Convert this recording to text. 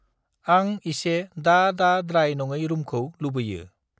आं इसे दा-दा द्राय नङै रुमखौ लुबैयो।